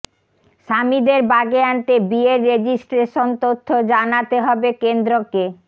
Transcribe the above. স্বামীদের বাগে আনতে বিয়ের রেজিস্ট্রেশন তথ্য জানাতে হবে কেন্দ্রকে